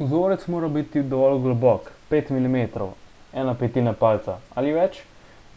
vzorec mora biti dovolj globok 5 mm 1/5 palca ali več